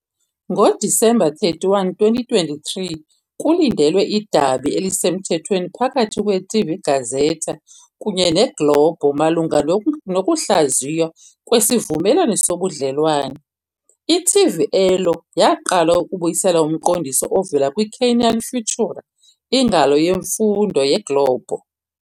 NgoDisemba 31, 2023, kulindelwe idabi elisemthethweni phakathi kweTV Gazeta kunye neGlobo malunga nokungahlaziywa kwesivumelwano sobudlelwane, "i-TV Elo" yaqala ukubuyisela umqondiso ovela kwiCanal Futura, ingalo yemfundo yeGlobo.